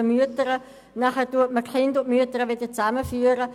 Nachher werden die Mütter und die Kinder wieder zusammengeführt.